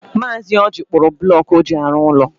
Mazi Ọji kpụrụ bụlọku ọ ji arụ ụlọ.